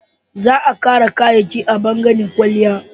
Za a kara kayayyaki a bangaren kwalliya